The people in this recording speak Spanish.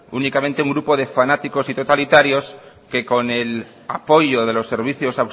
únicamente un grupo de fanáticos y totalitarios que con el apoyo de los servicios